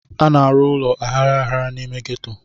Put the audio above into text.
A na-arụ ụlọ aghara aghara n'ime ghetto.